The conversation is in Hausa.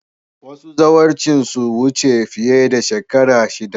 Wasu zawarcin sun wuce fiye da shekaru shida